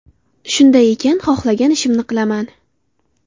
Shunday ekan, xohlagan ishimni qilaman.